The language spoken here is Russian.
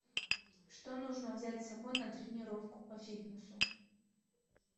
что нужно взять с собой на тренировку по фитнесу